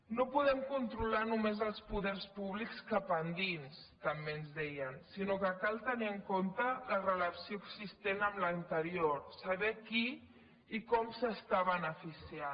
no podem controlar només els poders públics cap endins també ens deien sinó que cal tenir en compte la relació existent amb l’anterior saber qui i com s’està beneficiant